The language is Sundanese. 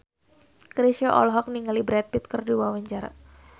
Chrisye olohok ningali Brad Pitt keur diwawancara